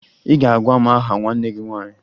Ị ga-agwa m aha nwanne gị nwaanyị!